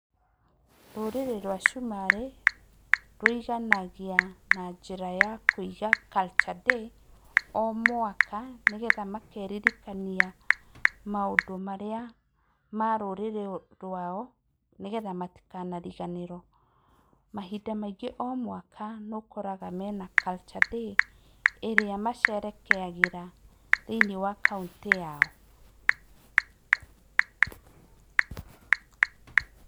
Rũrĩrĩ rwa cumarĩ rũiganagia na njĩra ya Kũiga culture day o mwaka nĩgetha makeririkania maũndũ marĩa ma rũrĩrĩ rwao nĩgetha matikanariganĩrwo mahinda maingĩ o mwaka nĩ ũkoraga mena culture day ĩrĩa macerekeagĩra thĩinĩ wa kaũntĩ yao.